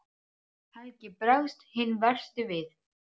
Helgi bregst hinn versti við.